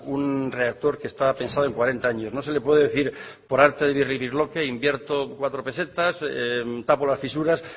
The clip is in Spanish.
un reactor que estaba pensado en cuarenta años no se le puede decir por arte de birlibirloque invierto cuatro pesetas tapo las fisuras